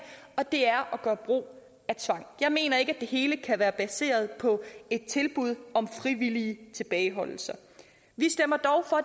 og det er at gøre brug af tvang jeg mener ikke at det hele kan være baseret på tilbud om frivillige tilbageholdelser vi stemmer dog for